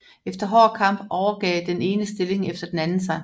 Efter hård kamp overgav den ene stilling efter den anden sig